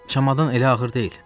Çamadan elə ağır deyil.